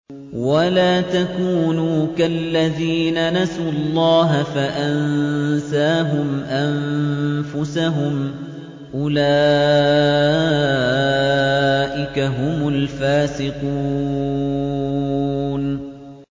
وَلَا تَكُونُوا كَالَّذِينَ نَسُوا اللَّهَ فَأَنسَاهُمْ أَنفُسَهُمْ ۚ أُولَٰئِكَ هُمُ الْفَاسِقُونَ